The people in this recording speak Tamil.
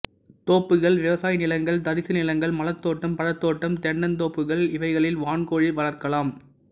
தோப்புகள் விவசாய நிலங்கள் தரிசு நிலங்கள் மலர்த்தோட்டம் பழத்தோட்டம் தென்னந் தோப்புகள் இவைகளில் வான்கோழி வளர்க்கலாம்